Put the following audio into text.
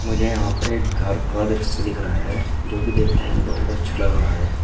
मुझे यहां पर एक घर का दृश्य दिख रहा है जोकि देखने में बहुत अच्छा लग रहा है।